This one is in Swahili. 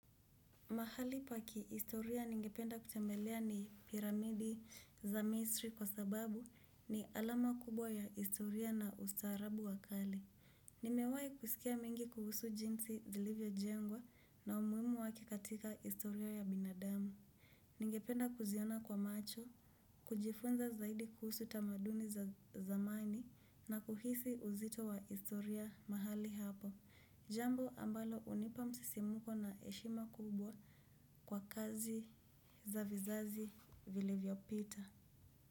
Mahali pa ki istoria ningependa kutembelea ni piramidi za misri kwa sababu ni alama kubwa ya istoria na ustaarabu wa kali. Nimewahi kusikia mengi kuhusu jinsi zilivyo jengwa na umuhimu wake katika istoria ya binadamu. Ningependa kuziona kwa macho, kujifunza zaidi kuhusu tamaduni za zamani na kuhisi uzito wa istoria mahali hapo. Jambo ambalo hunipa msisimuko na heshima kubwa kwa kazi za vizazi vilivyopita.